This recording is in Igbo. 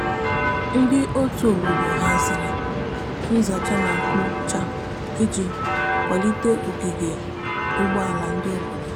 ndi ọtụ obodo hazịrị nza cha na nkpo cha iji kwalite ogige ugbo ala ndi obodo